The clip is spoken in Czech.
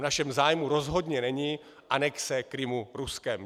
V našem zájmu rozhodně není anexe Krymu Ruskem.